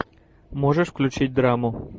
можешь включить драму